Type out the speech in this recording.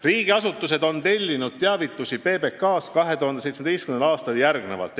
Riigiasutused tellisid 2017. aastal PBK-lt järgmisi teavituskampaaniaid.